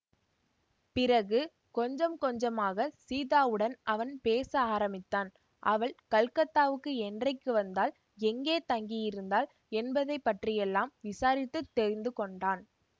பிறகு கொஞ்சம் கொஞ்சமாகச் சீதாவுடன் அவன் பேச ஆரம்பித்தான் அவள் கல்கத்தாவுக்கு என்றைக்கு வந்தாள் எங்கே தங்கியிருந்தாள் என்பதை பற்றியெல்லாம் விசாரித்து தெரிந்து கொண்டான்